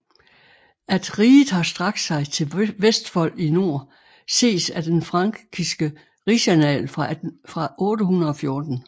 At riget har strakt sig til Vestfold i nord ses af den frankiske rigsannal fra 814